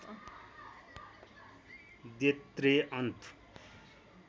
they त्रेअन्फ